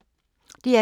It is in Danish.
DR P2